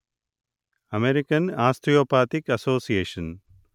American Osteopathic association